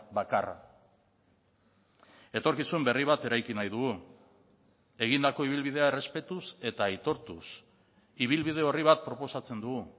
bakarra etorkizun berri bat eraiki nahi dugu egindako ibilbidea errespetuz eta aitortuz ibilbide orri bat proposatzen dugu